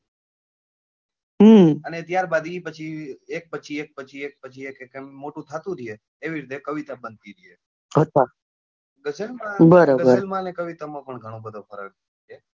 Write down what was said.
અને ત્યાર બાદ એક પછી એક પછી એક પછી એક મોટું થતું રહે એવી રીતે એક કવિતા બનતી જાય ગઝલમાં અને કવિતા માં પણ ઘણો બધો ફરક છે.